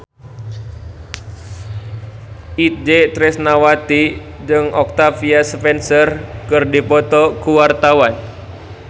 Itje Tresnawati jeung Octavia Spencer keur dipoto ku wartawan